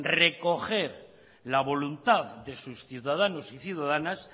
recoger la voluntad de sus ciudadanos y ciudadanas